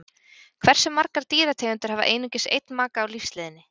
Hversu margar dýrategundir hafa einungis einn maka á lífsleiðinni?